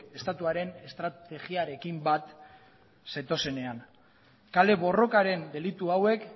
estatuaren estrategiarekin bat zetozenean kale borrokaren delitu hauek